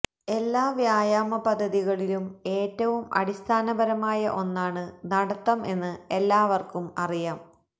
എല്ലാ വ്യായാമ പദ്ധതികളിലും ഏറ്റവും അടിസ്ഥാനപരമായ ഒന്നാണ് നടത്തം എന്ന് എല്ലാവർക്കും അറിയാം